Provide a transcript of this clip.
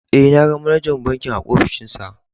Eh, na gan manajar bankin a ofishin sa.